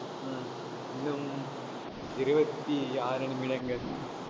ஆஹ் இன்னும் இருபத்தி ஆறு நிமிடங்கள்